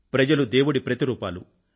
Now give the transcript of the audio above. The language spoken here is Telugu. ప్రజలు దేవుడి ప్రతిరూపాలు